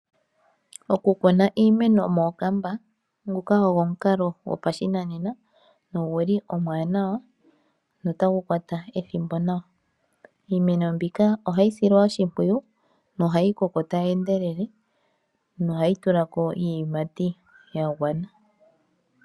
Okukuna iimeno mookamba ogo omukalo gopashinanena no guli omwaanawa no tagu kwata ethimbo nawa. Iimeno mbika ohayi silwa oshimpwiyu, tayi koko tayi endelele no tayi tula ko iiyimati.